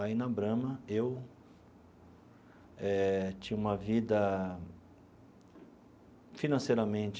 Aí, na Brahma, eu eh tinha uma vida financeiramente